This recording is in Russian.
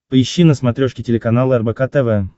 поищи на смотрешке телеканал рбк тв